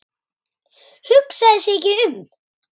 Hugsaði sig ekki um!